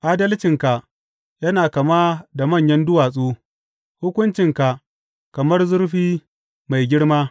Adalcinka yana kama da manyan duwatsu, hukuncinka kamar zurfi mai girma.